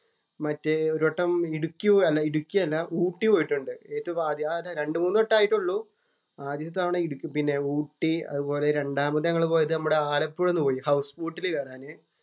മറ്റേ ഒരു വട്ടം ഇടുക്കി ഇടുക്കി അല്ല ഊട്ടി പോയിട്ടുണ്ട്. ഏറ്റവും ആദ്യം. രണ്ടുമൂന്നു വട്ടമേ ആയിട്ടുള്ളൂ. ആദ്യത്തെ തവണ ഇടു ഊട്ടി. അതുപോലെ രണ്ടാമത് ഞങ്ങള് പോയത് ആലപ്പുഴ ഒന്ന് പോയി ഹൗസ് ബോട്ടില് കയറാന്.